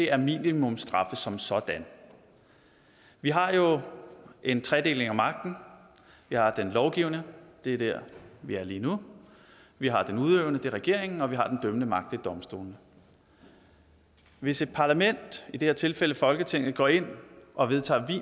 er minimumsstraffe som sådan vi har jo en tredeling af magten vi har den lovgivende det er der vi er lige nu vi har den udøvende det er regeringen og vi har den dømmende magt det er domstolene hvis et parlament i det her tilfælde folketinget går ind og vedtager